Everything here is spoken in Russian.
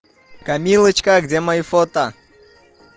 камилочка где мои фото